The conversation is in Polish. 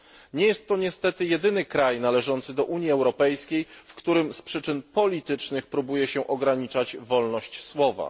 Nie jest to niestety jedyny kraj należący do Unii Europejskiej, w którym z przyczyn politycznych próbuje się ograniczać wolność słowa.